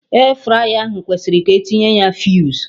Airfryer ahụ kwesịrị ka etinye ya fuse